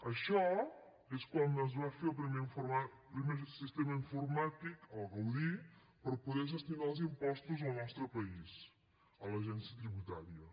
això és quan es va fer el primer sistema informàtic el gaudí per poder gestionar els impostos al nostre país a l’agència tributària